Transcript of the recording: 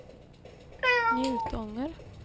Njutånger